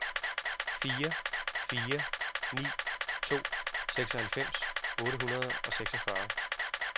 fire fire ni to seksoghalvfems otte hundrede og seksogfyrre